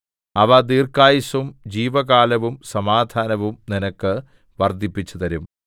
അവ ദീർഘായുസ്സും ജീവകാലവും സമാധാനവും നിനക്ക് വർദ്ധിപ്പിച്ചുതരും